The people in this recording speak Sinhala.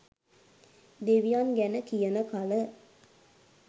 දෙවියන් ගැන කියන කල